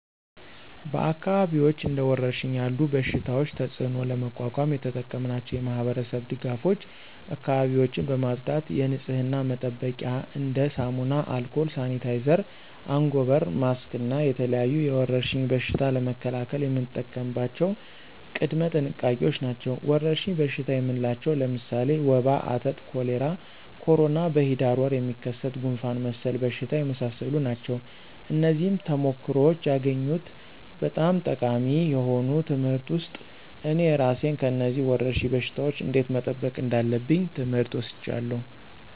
በአካባቢዎች እንደ ወረርሽኝ ያለ በሽታቸው ተፅእኖ ለመቋቋም የተጠቀምናቸው የማህበረሰብ ድጋፎች አካባቢዎችን በማፅዳት የንፅህና መጠበቂያ እንደ ሳሙና፣ አልኮል፣ ሳኒታይዘር፣ አንጎበር፣ ማክስ እና የተለያዩ የወረርሽኝ በሽታ ለመከላከል የምንጠቀምባቸው ቅድመ ጥንቃቄዎች ናቸው። ወረርሽኝ በሽታ የምንላቸው ለምሳሌ ወባ፣ አተት፣ ኮሌራ፣ ኮሮና፣ በሂዳር ወር የሚከሰት ጉንፍን መሰል በሽታዎች የመሳሰሉ ናቸው። ከነዚህም ተሞክሮዎች ያገኘሁት በጣም ጠቃሚ የሆኑ ትምህርት ውስጥ እኔ እራሴን ከነዚህ ወረርሽኝ በሽታወች እንዴት መጠበቅ እንዳለብኝ ትምህር ወስጃለሁ።